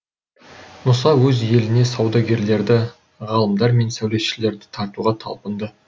мұса өз еліне саудагерлерді ғалымдар мен сәулетшілерді тартуға талпынды